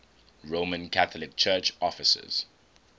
roman catholic church offices